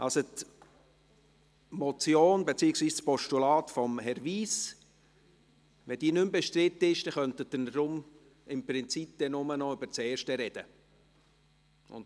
Wenn die Motion beziehungsweise das Postulat von Herrn Wyss nicht mehr bestritten ist, könnten wir im Prinzip nur noch über die erste sprechen.